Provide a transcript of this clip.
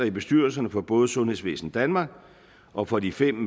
i bestyrelserne for både sundhedsvæsen danmark og for de fem